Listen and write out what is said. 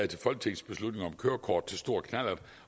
til folketingsbeslutning om kørekort til stor knallert